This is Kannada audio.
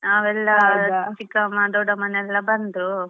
ನಾವೆಲ್ಲಾ ಚಿಕ್ಕಮ್ಮಾ ದೊಡ್ಡಮ್ಮನೆಲ್ಲ ಬಂದು.